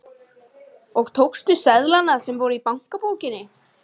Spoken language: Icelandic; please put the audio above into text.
Og tókstu seðlana sem voru í bankabókinni?